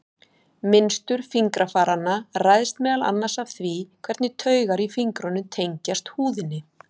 Mynstur fingrafaranna ræðst meðal annars af því hvernig taugar í fingrunum tengjast húðinni.